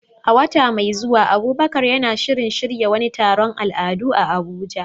A wata mai zuwa, Abubakar na shirin shirya wani taron al'adu a Abuja.